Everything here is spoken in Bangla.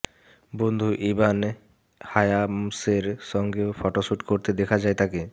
বন্ধু ইবান হায়ামসের সঙ্গেও ফটোশ্যুট করতে দেখা যায় তাঁকে